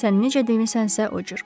Sən necə demisənsə o cür.